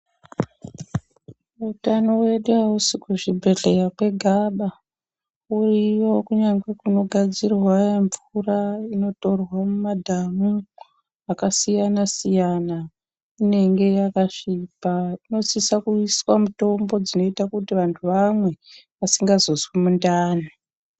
Utano wedu hausi kuzvibhedhleya kwegaba, uriyo kunyangwe kunogadzirwa mvura inotorwa mumadhamu akasiyana-siyana inenge yakasvipa. Inosisa kuiswa mitombo dzinoita kuti vantu vamwe vasingazozwi mundani.